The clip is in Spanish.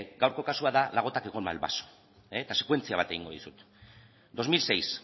gaurko kasua da la gota que colma el vaso eta sekuentzia bat egingo dizut dos mil seis